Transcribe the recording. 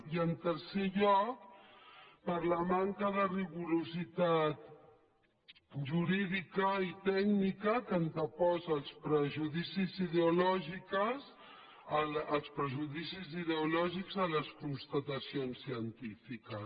i en tercer lloc per la manca de rigor jurídic i tècnic que anteposa els prejudicis ideològics a les constatacions científiques